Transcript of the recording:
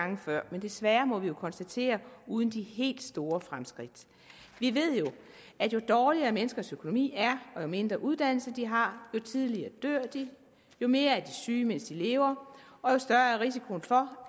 gange før men desværre må vi konstatere uden de helt store fremskridt vi ved jo at jo dårligere menneskers økonomi er og jo mindre uddannelse de har jo tidligere dør de jo mere syge mens de lever og jo større er risikoen for